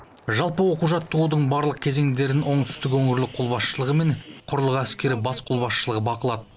жалпы оқу жаттығудың барлық кезеңдерін оңтүстік өңірлік қолбасшылығы мен құрлық әскері бас қолбасшылығы бақылады